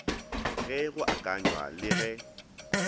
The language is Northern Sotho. ge go akanywa le ge